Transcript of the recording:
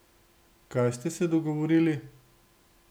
Kaj ste se dogovorili?